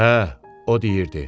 Hə, o deyirdi.